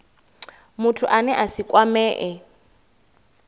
muthu ane a si kwamee